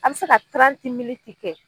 An be se ka kɛ.